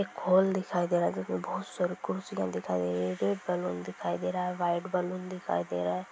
एक हॉल दिखाई दे रहा है जो के बोहोत साड़ी खुर्सिया दिखाई दे रही हैं| जो बलून दिखाई दे रहा है वाइट बलून दे रहा है।